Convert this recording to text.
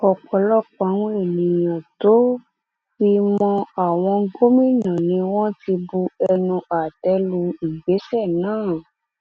ọpọlọpọ àwọn èèyàn tó fi mọ àwọn gómìnà ni wọn ti bu ẹnu àtẹ lu ìgbésẹ náà